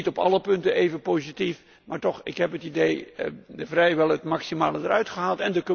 Dat was niet op alle punten even positief, maar toch ik heb het idee dat vrijwel het maximale eruit is gehaald.